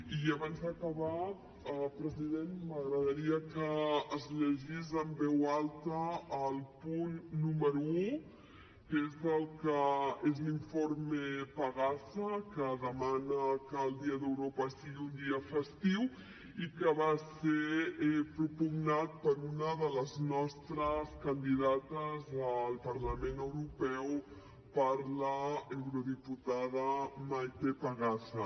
i abans d’acabar president m’agradaria que es llegís en veu alta el punt número un que és l’informe pagaza que demana que el dia d’europa sigui un dia festiu i que va ser propugnat per una de les nostres candidates al parlament europeu per l’eurodiputada maite pagaza